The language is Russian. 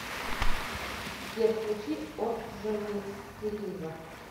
сбер включи орджонесселива